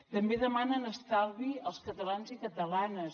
també demanen estalvi als catalans i catalanes